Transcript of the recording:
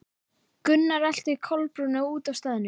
Gunnar elti Kolbrúnu út af staðnum.